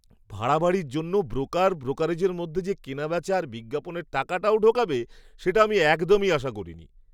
ভাড়া বাড়ির জন্য ব্রোকার ব্রোকারেজের মধ্যে যে কেনাবেচা আর বিজ্ঞাপনের টাকাটাও ঢোকাবে সেটা আমি একদমই আশা করিনি!